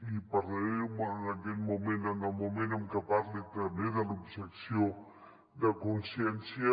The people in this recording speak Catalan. i en parlaré bé en aquest mo·ment en el moment en què parli també de l’objecció de consciència